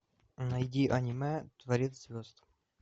найди аниме творец звезд